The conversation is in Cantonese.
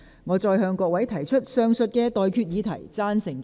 我現在向各位提出上述待決議題。